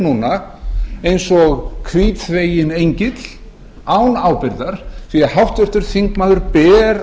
núna eins og hvítþveginn engill án ábyrgðar því háttvirtur þingmaður ber